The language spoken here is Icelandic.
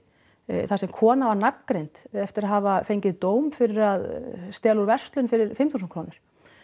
þar sem kona var nafngreind eftir að hafa fengið dóm fyrir að stela úr verslun fyrir fimm þúsund krónur